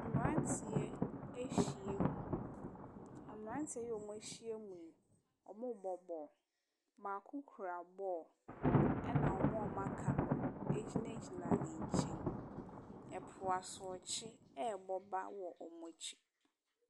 Mmaranteɛ ɔmɔ ɛhyiamu ɔmɔ bɔ bɔɔlo baako kura bɔɔlo ɛna ɔmoa wɔka no gyina gyina nkyɛn ɛpo asokyerɛ ɛbɔba wɔn akyi.